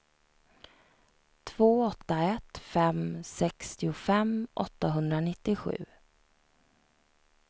två åtta ett fem sextiofem åttahundranittiosju